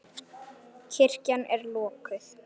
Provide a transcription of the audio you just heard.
Kirkjan er lokuð.